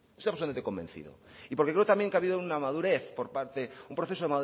estoy absolutamente convencido y porque creo también que ha habido un proceso